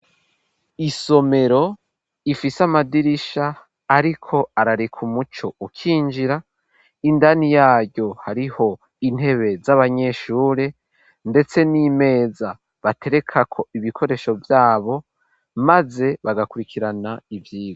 Isomero rifise amadirisha ariko arareka umuco ukinjira indani yaryo hariho intebe z'abanyeshure ndetse n'imeza batereka ko ibikoresho vyabo maze bagakurikirana ivyigwa.